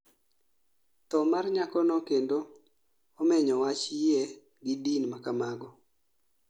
Tho mar nyakono kendo omenyo wach yie gi din makamago